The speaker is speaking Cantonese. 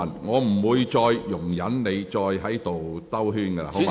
我不會再容忍你繞圈子。